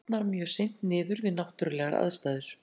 Plast brotnar mjög seint niður við náttúrulegar aðstæður.